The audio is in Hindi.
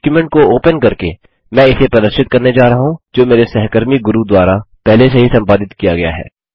डॉक्युमेंट को ओपन करके मैं इसे प्रदर्शित करने जा रहा हूँ जो मेरे सहकर्मी गुरू द्वारा पहले से ही संपादित किया गया है